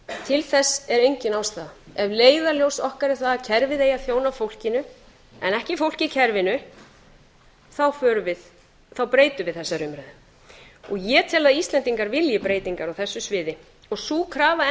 til þess er engin ástæða ef leiðarljós okkar er það að kerfið eigi að þjóna fólkinu en ekki fólkið kerfinu þá breytum við þessari umræðu og ég tel að íslendingar vilji breytingar á þessu sviði og sú krafa